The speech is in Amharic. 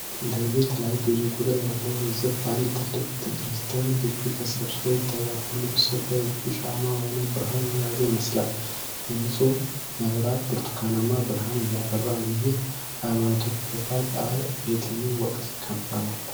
ሌሊት ላይ ብዙ ቁጥር ያለው ሕዝብ በአንድ ትልቅ ቤተ ክርስቲያን ግቢ ተሰብስቦ ይታያል። ሁሉም ሰው በእጁ ሻማ ወይም ብርሃን የያዘ ይመስላል። የህንጻው መብራት ብርቱካናማ ብርሃን እያበራ ነው። ይህ ሃይማኖታዊ ክብረ በዓል በየትኛው ወቅት ይከበራል?